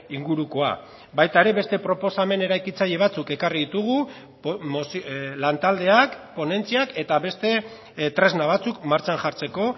ingurukoa baita ere beste proposamen eraikitzaile batzuk ekarri ditugu lan taldeak ponentziak eta beste tresna batzuk martxan jartzeko